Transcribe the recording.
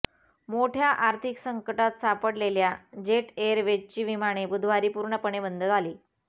मोठय़ा आर्थिक संकटात सापडलेल्या जेट एअरवेजची विमाने बुधवारी पूर्णपणे बंद झाली